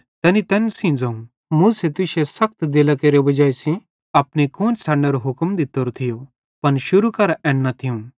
तैनी तैन सेइं ज़ोवं मूसे तुश्शे सखत दिलेरी वजाई सेइं अपनी कुआन्शन छ़डनेरो हुक्म दित्तोरो थियो पन शुरू करां एन न थियूं